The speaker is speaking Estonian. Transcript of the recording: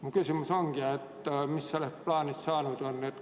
Mu küsimus ongi: mis sellest plaanist saanud on?